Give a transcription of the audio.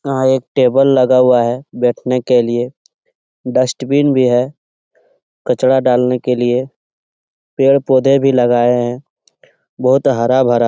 यहाँ पर एक टेबल लगा हुआ है बैठने के लिए । डस्टबिन भी है कचरा डालने के लिए । पेड़ पौधे भी लगाए हुए हैं । बहुत हरा भरा --